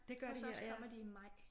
Hos os kommer de i maj